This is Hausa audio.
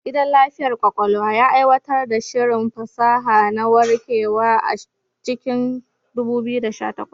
Gidan lafiyar ƙwaƙwalwa ya aiwatar da shirin fasaha na warkewa a cikin 2018.